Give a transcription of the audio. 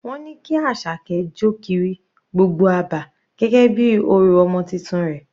Wọ́n ní kí Asake jọ kiri gbogbo abà gẹ́gẹ́ bí orò ọmọ titun rẹ̀.